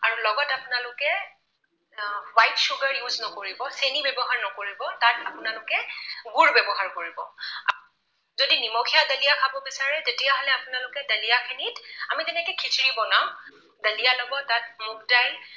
আ, white sugar use নকৰিব। চেনি ব্যৱহাৰ নকৰিব, তাত আপোনালোকে গুৰ ব্যৱহাৰ কৰিব। যদি নিমখীয়া দালিয়া খাব বিচাৰে তেতিয়া হলে আপোনালোকে দালিয়া খিনি, আমি যেনেকৈ খিচিৰি বনাও, দালিয়া লব, তাত মুগ দাইল